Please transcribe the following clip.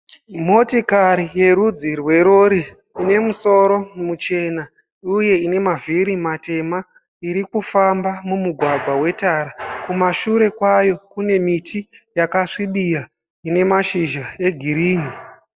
Motokari yerudzi rwerori ine musoro muchena uye ine mavhiri matema irikufamba mumugwagwa wetara kumashure kwayo kune miti yakasvibira ine mashizha egirini.